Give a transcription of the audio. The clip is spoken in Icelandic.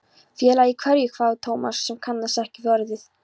Félagi í hverju? hváði Thomas sem kannaðist ekki við orðið.